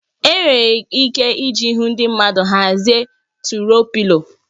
Enwere ike iji ihu ndị mmadụ hazie turuọ Pịlo